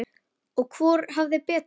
Og hvor hafði betur.